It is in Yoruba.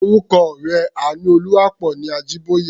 Orúkọ ọ̀rẹ́ Àánúolúwaápọ̀ ni Ajíbóyè.